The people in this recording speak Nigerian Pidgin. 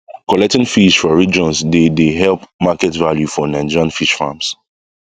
collecting fish for regions dey dey help market value for nigerian fish farms